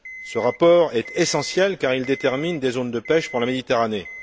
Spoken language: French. Ce rapport est essentiel car il détermine des zones de pêche pour la Méditerranée.